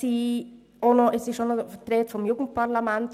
Die Rede war auch noch vom Jugendparlament.